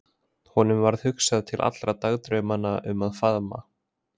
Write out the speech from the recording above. Honum varð hugsað til allra dagdraumanna um að faðma